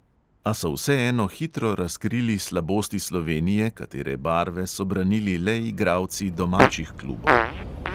A so vseeno hitro razkrili slabosti slovenije, katere barve so branili le igralci domačih klubov.